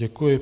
Děkuji.